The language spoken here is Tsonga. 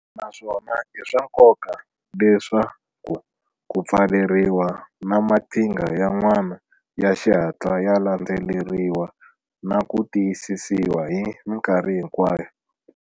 Naswona i swa nkoka leswaku ku pfaleriwa na maqhinga yan'wana ya xihatla ya landzeleriwa na ku tiyisisiwa hi mikarhi hinkwayo.